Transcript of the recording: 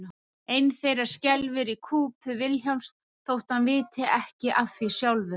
Ein þeirra skelfur í kúpu Vilhjálms þótt hann viti ekki af því sjálfur.